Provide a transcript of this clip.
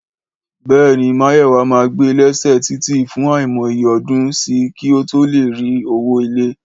Béèni Máyòwá ma gbé lẹ́sẹ̀ títì fún aimọ iye ọdún sí kí o to lè rí owó ilé